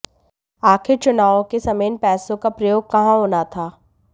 आखिर चुनावोँ के समय इन पैसों का प्रयोग कहां होना था